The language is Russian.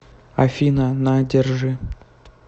афина на держи